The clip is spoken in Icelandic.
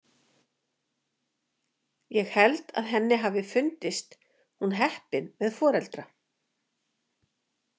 Ég held að henni hafi fundist hún heppin með foreldra.